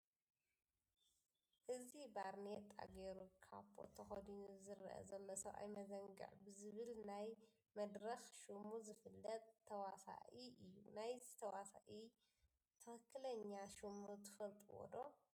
እዚ ባርኔጣ ገይሩ ካቦት ተከዲኑ ዝርአ ዘሎ ሰብኣይ መዘንግዕ ብዝብል ናይ መድረኽ ሽሙ ዝፍለጥ ተዋሳኢ እዩ፡፡ ናይዚ ተዋሳኢ ትኽኽለኛ ሽሙ ትፈልጡዎ ዶ?